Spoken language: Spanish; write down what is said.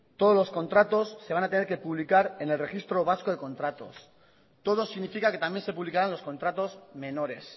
todos los contratos se van a tener que publicar en el registro vasco de contratos todo significa que también se publicarán los contratos menores